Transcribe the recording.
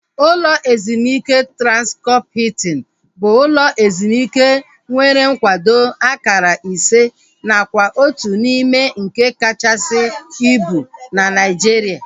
Ụlọ ezumike Transkọp Hiltin bụ ụlọ ezumike nwere nkwado akara ise nakwa otu n'ime nke kachasị ibu na Naijiria